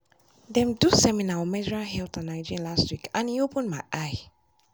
dem do seminar on menstrual health and hygiene last week and e open my eye.